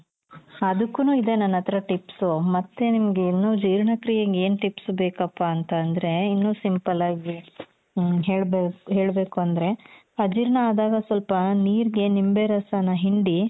ಅದುಕ್ಕುನು ಇದೆ ನನ್ ಹತ್ರ tips ಮತ್ತೆ ನಿಮ್ಗೆ ಇನ್ನೂ ಜೀರ್ಣಕ್ರೀಯೆಗೆ ಏನ್ tips ಬೇಕಪ್ಪಾ ಅಂತಂದ್ರೆ ಇನ್ನೂ simple ಆಗ್ ಹೆಳ್ಬೇಕು ಅಂದ್ರೆ ಅಜೀರ್ಣ ಆದಾಗ ಸ್ವಲ್ಪ ನೀರ್ಗೆ ನಿಂಬೆ ರಸನ ಹಿಂಡಿ